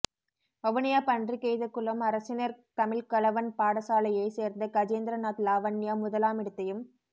வவுனியா பன்றிக்கெய்தகுளம் அரசினர் தமிழ்க் கலவன் பாடசாலையைச் சேர்ந்த கஜேந்திரநாத் லாவண்யா முதலாமிடத்தையும்